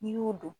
N'i y'o dɔn